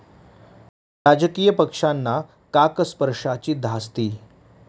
राजकीय पक्षांना 'काकस्पर्शा'ची धास्ती